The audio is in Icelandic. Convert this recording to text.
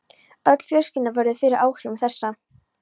Öll fjölskyldan verður fyrir áhrifum þessa.